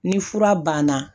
Ni fura banna